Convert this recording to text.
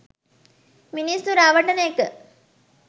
මිනිස්සු රවටන එක